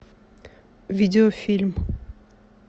видеофильм